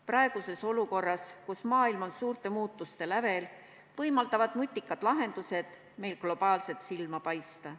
Praeguses olukorras, kus maailm on suurte muutuste lävel, võimaldavad nutikad lahendused meil globaalselt silma paista.